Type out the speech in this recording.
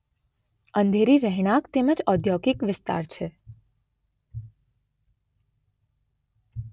અંધેરી રહેણાંક તેમજ ઔદ્યોગિક વિસ્તાર છે.